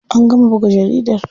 An gama buga jaridar.